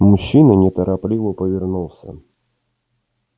мужчина неторопливо повернулся